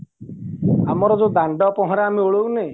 ଆମର ଯୋଉ ଦାଣ୍ଡ ପହଁରା ଆମେ ଓଳାଉନେ